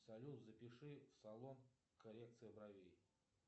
салют запиши в салон коррекция бровей